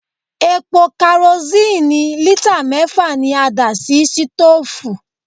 Epo karosíìnì lítà mẹ́fà ni a dà sí sítòòfù.